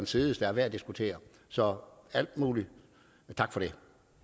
side der er værd at diskutere så al mulig tak for det